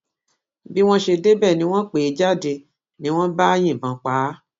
bí wọn ṣe débẹ ni wọn pè é jáde ni wọn bá yìnbọn pa á